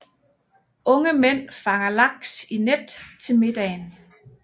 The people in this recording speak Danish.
Unge mænd fanger laks i net til middagen